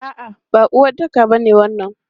A'a, ba uwaɗɗaka ba ne wannan.